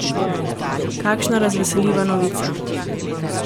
Kakšna razveseljiva novica!